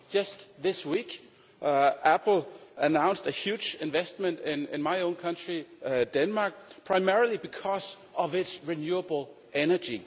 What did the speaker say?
Just this week Apple announced a huge investment in my own country, Denmark, primarily because of its renewable energy.